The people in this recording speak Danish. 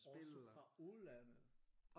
Også fra udlandet?